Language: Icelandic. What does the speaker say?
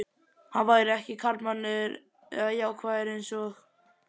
Hann væri ekki karlmannlegur eða jákvæður einsog